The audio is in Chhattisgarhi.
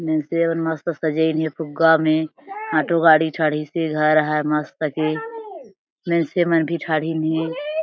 मनसे मन मस्त सजाईन हे फुग्गा में आटो गाड़ी चड़ीस हे घर है मस्त के मनसे मन भी ढ़ड़िहीन हे।